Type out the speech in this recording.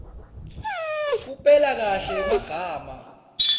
kupela kahle emagama